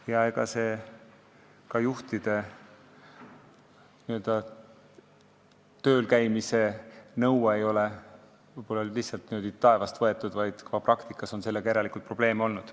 Ja ega see juhtide töölkäimise nõue ei ole lihtsalt taevast võetud, järelikult on sellega praktikas probleeme olnud.